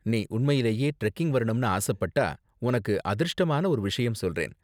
நீ உண்மையிலேயே டிரெக்கிங் வரணும்னு ஆசப்பட்டா உனக்கு அதிர்ஷ்டமான ஒரு விஷயம் சொல்றேன்.